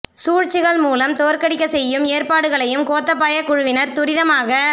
சூழ்ச்சிகள் மூலம் தோற்கடிக்கச் செய்யும் ஏற் பாடுகளையும் கோத்தாபாய குழுவினர் துரிதமாக